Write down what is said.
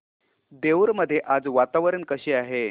देऊर मध्ये आज वातावरण कसे आहे